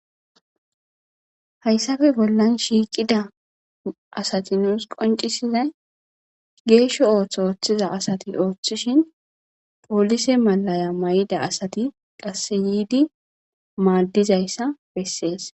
hayssafe bollan shiikida asati nuus qoncisizay geeshsho ooththo ooththiza asati ooththishin polise malaya may7ida asati qasse yiidi maaddizayssa bessees